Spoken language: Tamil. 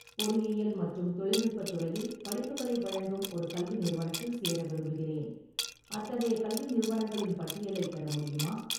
பொறியியல் மற்றும் தொழில்நுட்பத் துறையில் படிப்புகளை வழங்கும் ஒரு கல்வி நிறுவனத்தில் சேர விரும்புகிறேன், அத்தகைய கல்வி நிறுவனங்களின் பட்டியலைப் பெற முடியுமா?